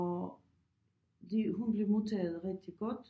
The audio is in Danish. Og det hun blev modtaget rigtig godt